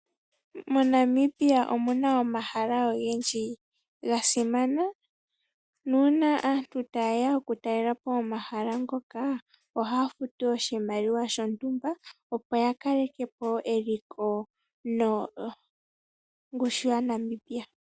MoNamibia omu na omahala ogendji ga simana, nuuna aantu ta yeya oku talelapo omahala ngoka, oha ya futu oshimaliwa shontumba, opo ya kaleke po eliko nongushu ya Namibia.